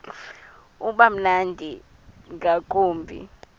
uba mnandi ngakumbi